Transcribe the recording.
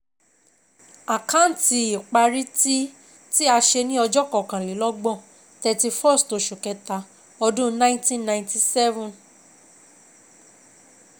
Àkáǹtì ìparí tí tí a ṣe ní ọjọ́ kọkàn-lé-lọ́gbọ̀n(31ST Oṣù Kẹta ọdún 1997)